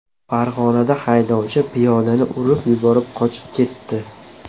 Farg‘onada haydovchi piyodani urib yuborib qochib ketdi.